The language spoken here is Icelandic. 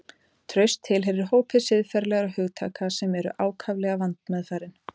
Traust tilheyrir hópi siðferðilegra hugtaka sem eru ákaflega vandmeðfarin.